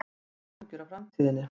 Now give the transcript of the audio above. Ég hef ekki áhyggjur af framtíðinni.